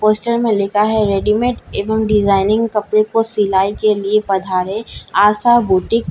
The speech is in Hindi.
पोस्‍टर में लिखा है रेडीमेड एवं डिजाइनिंग कपड़े को सिलाई के लिए पधारे आशा बुटीक ।